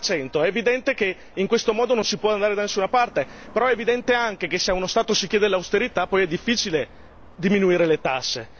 50 è evidente che in questo modo non si può andare da nessuna parte, però è evidente anche che se uno Stato ci chiede l'austerità poi è difficile diminuire le tasse.